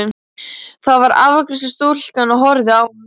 Þar var afgreiðslustúlkan og horfði á hann.